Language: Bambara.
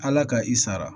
Ala ka i sara